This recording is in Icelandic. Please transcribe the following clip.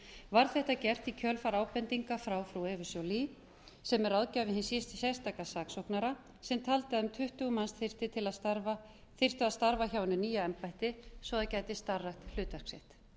var þetta gert í kjölfar ábendinga frá eða joly sem er ráðgjafi hins sérstaka saksóknara sem taldi að um tuttugu manns þyrftu að starfa hjá hinu nýja embætti svo það gæti starfrækt hlutverk sitt